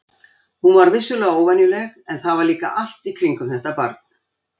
Hún var vissulega óvenjuleg, en það var líka allt í kringum þetta barn.